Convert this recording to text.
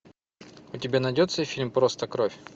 у тебя найдется фильм просто кровь